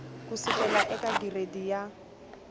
ku sukela eka giredi ya